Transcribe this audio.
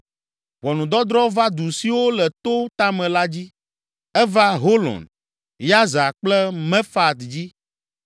Ʋɔnudɔdrɔ̃ va du siwo le to tame la dzi. Eva Holon, Yaza kple Mefaat dzi.